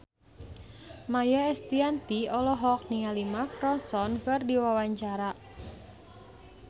Maia Estianty olohok ningali Mark Ronson keur diwawancara